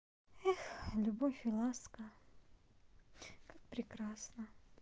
эх любовь и ласка как прекрасно